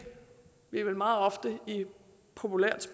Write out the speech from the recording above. vi vel meget ofte populært